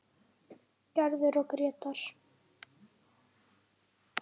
Gerður og Grétar.